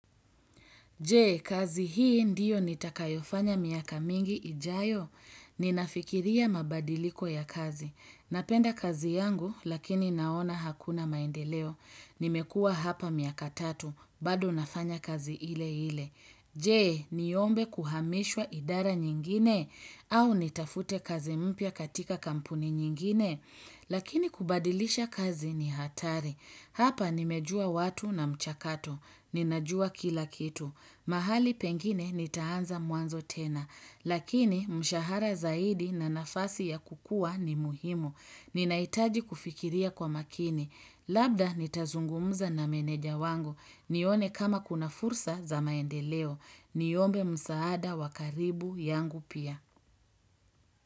Jee, kazi hii ndiyo nitakayofanya miaka mingi ijayo. Ninafikiria mabadiliko ya kazi. Napenda kazi yangu, lakini naona hakuna maendeleo. Nimekuwa hapa miaka tatu, bado nafanya kazi ile ile. Jee, niombe kuhamishwa idara nyingine, au nitafute kazi mpya katika kampuni nyingine. Lakini kubadilisha kazi ni hatari. Hapa nimejua watu na mchakatu. Ninajua kila kitu. Mahali pengine nitaanza mwanzo tena. Lakini mshahara zaidi na nafasi ya kukua ni muhimu. Ninaitaji kufikiria kwa makini. Labda nitazungumza na menedja wangu. Nione kama kuna fursa za maendeleo. Niombe msaada wakaribu yangu pia.